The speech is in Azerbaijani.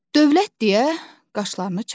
Dövlət deyə qaşlarını çatdı.